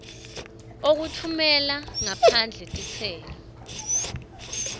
okutfumela ngaphandle titselo